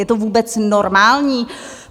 Je to vůbec normální?